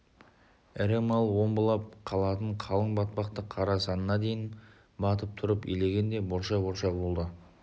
ірі мал омбылап қалатын қалың батпақты қара санына дейін батып тұрып илегенде борша-борша болды